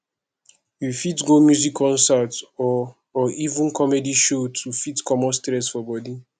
we fit go music concert or or even comedy show to fit comot stress for body